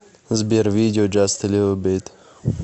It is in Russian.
сбер видео джаст э лил бит